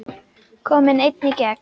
Kominn einn í gegn?